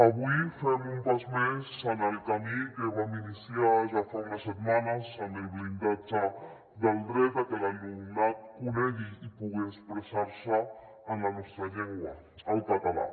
avui fem un pas més en el camí que vam iniciar ja fa unes setmanes amb el blindatge del dret de que l’alumnat conegui i pugui expressar se en la nostra llengua el català